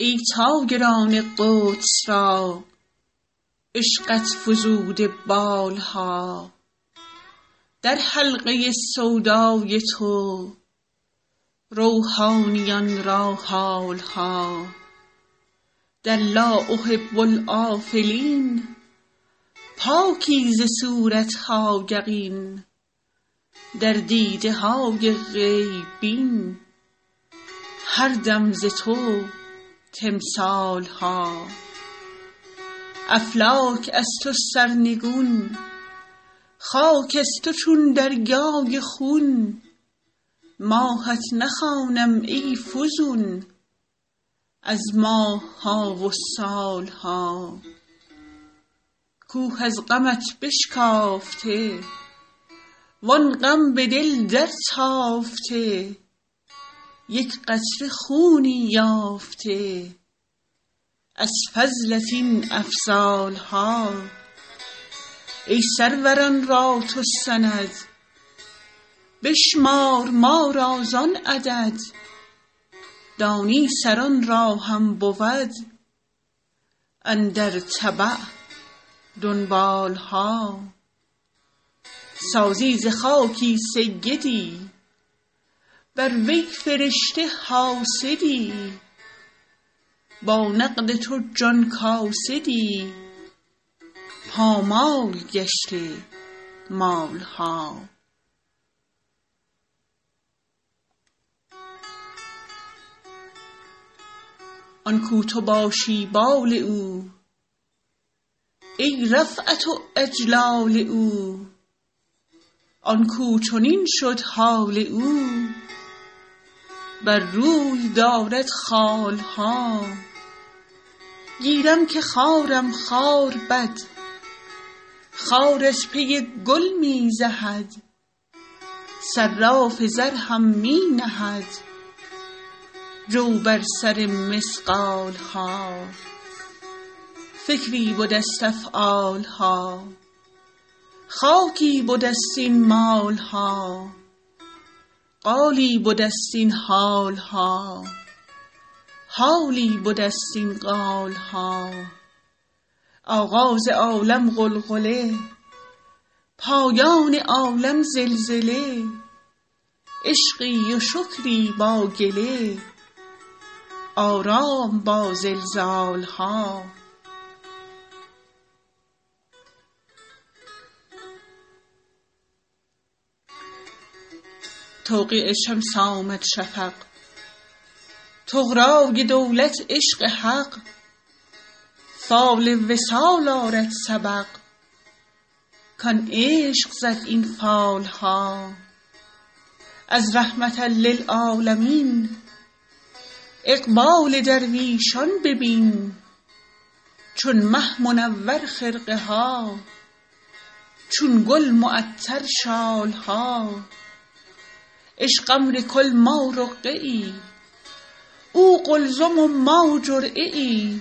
ای طایران قدس را عشقت فزوده بال ها در حلقه سودای تو روحانیان را حال ها در لا احب الآفلین پاکی ز صورت ها یقین در دیده های غیب بین هر دم ز تو تمثال ها افلاک از تو سرنگون خاک از تو چون دریای خون ماهت نخوانم ای فزون از ماه ها و سال ها کوه از غمت بشکافته وان غم به دل درتافته یک قطره خونی یافته از فضلت این افضال ها ای سروران را تو سند بشمار ما را زان عدد دانی سران را هم بود اندر تبع دنبال ها سازی ز خاکی سیدی بر وی فرشته حاسدی با نقد تو جان کاسدی پامال گشته مال ها آن کاو تو باشی بال او ای رفعت و اجلال او آن کاو چنین شد حال او بر روی دارد خال ها گیرم که خارم خار بد خار از پی گل می زهد صراف زر هم می نهد جو بر سر مثقال ها فکری بده ست افعال ها خاکی بده ست این مال ها قالی بده ست این حال ها حالی بده ست این قال ها آغاز عالم غلغله پایان عالم زلزله عشقی و شکری با گله آرام با زلزال ها توقیع شمس آمد شفق طغرای دولت عشق حق فال وصال آرد سبق کان عشق زد این فال ها از رحمة للعالمین اقبال درویشان ببین چون مه منور خرقه ها چون گل معطر شال ها عشق امر کل ما رقعه ای او قلزم و ما جرعه ای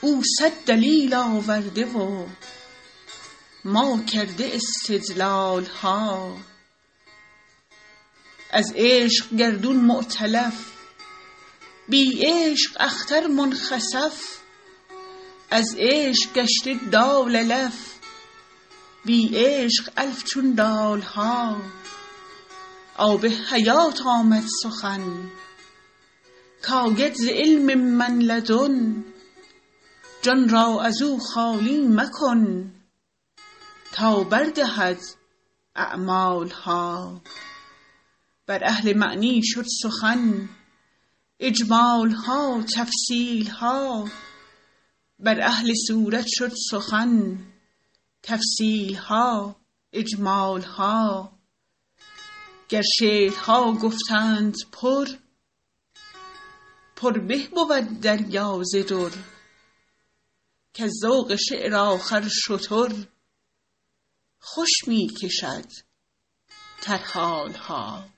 او صد دلیل آورده و ما کرده استدلال ها از عشق گردون مؤتلف بی عشق اختر منخسف از عشق گشته دال الف بی عشق الف چون دال ها آب حیات آمد سخن کاید ز علم من لدن جان را از او خالی مکن تا بر دهد اعمال ها بر اهل معنی شد سخن اجمال ها تفصیل ها بر اهل صورت شد سخن تفصیل ها اجمال ها گر شعرها گفتند پر پر به بود دریا ز در کز ذوق شعر آخر شتر خوش می کشد ترحال ها